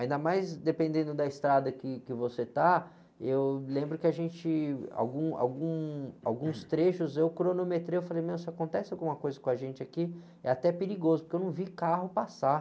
Ainda mais dependendo da estrada que, que você está, eu lembro que a gente, algum, algum, alguns trechos eu cronometrei, eu falei, meu, se acontece alguma coisa com a gente aqui, é até perigoso, porque eu não vi carro passar.